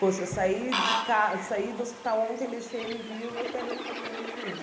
Poxa, eu saí de ca saí do hospital ontem, deixei ele vivo, eu quero encontrar ele vivo.